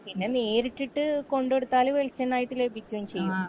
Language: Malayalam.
പിന്നെ നേരിട്ടിട്ട് കൊണ്ട് കൊടുത്താലും വെളിച്ചണായിട്ട് ലഭിക്കും ചെയ്യും